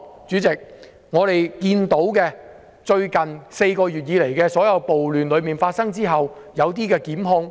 主席，過去4個月以來，在暴亂發生後，有些人士被檢控。